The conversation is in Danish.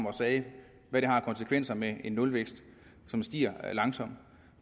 og sagde hvad det har af konsekvenser med en nulvækst som stiger langsomt